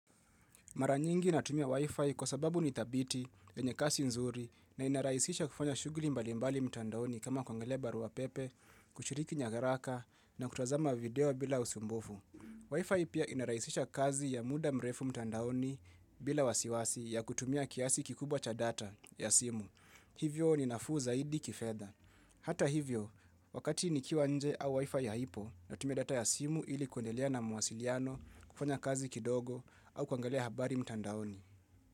Mara nyingi natumia Wi-Fi kwa sababu nithabiti, yenye kasi nzuri na inarahisisha kufanya shughuli mbali mbali mtandaoni kama kuangalia barua pepe, kushiriki nyaraka na kutazama video bila usumbufu. Wi-Fi pia inarahisisha kazi ya muda mrefu mtandaoni bila wasiwasi ya kutumia kiasi kikubwa cha data ya simu. Hivyo ni nafuu zaidi kifedha. Hata hivyo, wakati nikiwa nje au WI-FI haipo natumia data ya simu ili kuendelea na mawasiliano, kufanya kazi kidogo au kuangalia habari mtandaoni.